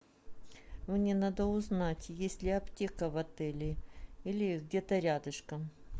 мне надо узнать есть ли аптека в отеле или где то рядышком